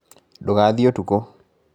Ndũgaathiĩ ũtukũ